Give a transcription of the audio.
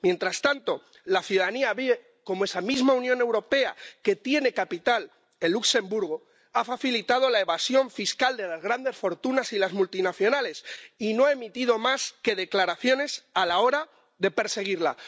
Mientras tanto, la ciudadanía ve cómo esa misma Unión Europea que tiene capital en Luxemburgo ha facilitado la evasión fiscal de las grandes fortunas y las multinacionales y no ha emitido más que declaraciones a la hora de perseguirla.